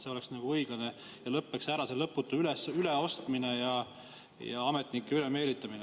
See oleks õiglane ja lõpeks ära see lõputu üleostmine ja ametnike ülemeelitamine.